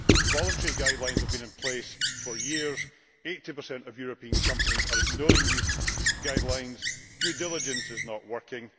Voluntary guidelines have been in place for years and 80 of European companies are ignoring these guidelines. Due diligence is not working.